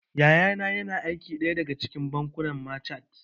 Yaya na yana aiki a ɗaya daga cikin bankunan machat